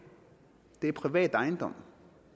er privat ejendom